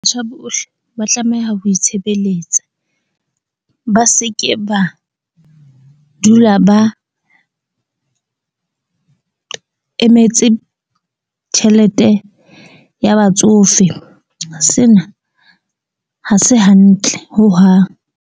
bohle ba tlameha ho itshebeletsa, ba seke ba dula ba emetse tjhelete ya batsofe. Sena ha se hantle hohang.